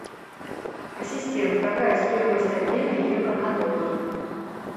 ассистент какая стоимость обмена евро на доллары